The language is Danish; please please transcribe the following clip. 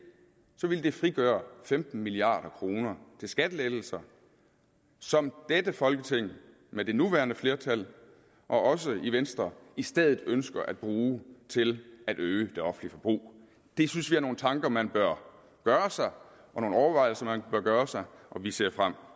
så ville det frigøre femten milliard kroner til skattelettelser som dette folketing med det nuværende flertal også venstre i stedet ønsker at bruge til at øge det offentlige forbrug det synes vi er nogle tanker man bør gøre sig og nogle overvejelser man bør gøre sig og vi ser frem